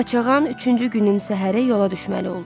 Qaçağan üçüncü günün səhəri yola düşməli oldu.